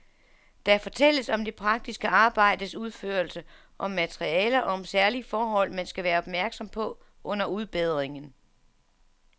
Der fortælles om det praktiske arbejdes udførelse, om materialer og om særlige forhold, man skal være opmærksom på under udbedringen.